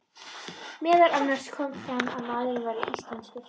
Meðal annars kom fram að maðurinn væri íslenskur.